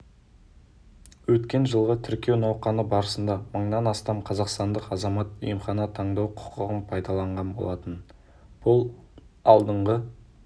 өткен жылғы тіркеу науқаны барысында мыңнан астам қазақстандық азамат емхана таңдау құқығын пайдаланған болатын бұл алдыңғы